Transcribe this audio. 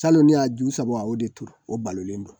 Salon ne y'a ju saba o de turu o balolen don.